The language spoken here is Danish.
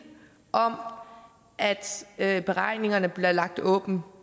om at at beregningerne bliver lagt åbent